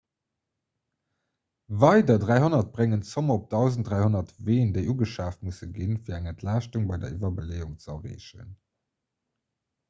weider 300 bréngen d'zomm op 1 300 ween déi ugeschaaft musse ginn fir eng entlaaschtung bei der iwwerbeleeung ze erreechen